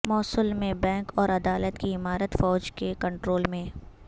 موصل میں بینک اور عدالت کی عمارت فوج کے کنٹرول میں